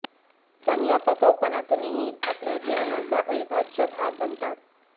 पण या पकाऊपणातूनही आपल्या जीवनाचा अविभाज्य भाग बनतात